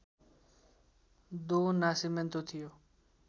दो नासिमेन्तो थियो